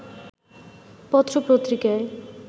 পত্র পত্রিকায়